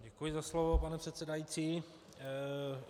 Děkuji za slovo, pane předsedající.